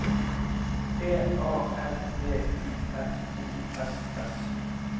B A R D U F O S S